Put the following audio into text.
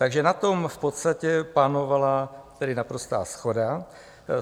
Takže na tom v podstatě panovala naprostá shoda.